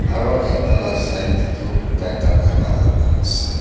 aru ekta lah side teh tu tai dhana khai laga ase.